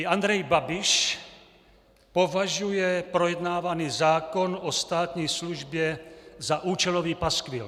I Andrej Babiš považuje projednávaný zákon o státní službě za účelový paskvil.